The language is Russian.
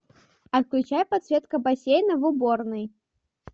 отключай подсветка бассейна в уборной